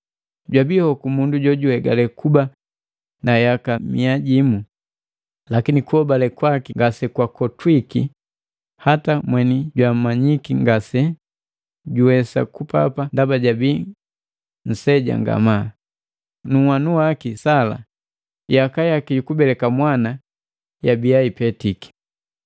Jwabii hokomundu jojuhegale kuba na yaka mia jimu, lakini kuhobale kwaki ngase kwakotwike hata mweni jwamanyiki ngase juwesa kupapa ndaba jabii nseja ngamaa, nu nhwanu waki Sala yaka yaki yukubeleka mwana yabia ipetiki.